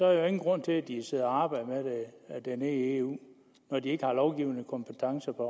er der ingen grund til at de sidder og arbejder med det nede i eu når de ikke har lovgivningskompetence